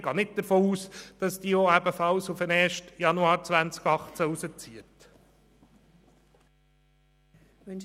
Ich gehe nicht davon aus, dass dieses ebenfalls per 1. Januar 2018 ausziehen wird.